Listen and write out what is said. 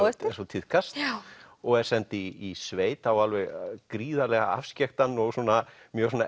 eftir eins og tíðkast og er send í sveit á alveg gríðarlega afskekktan og svona mjög svona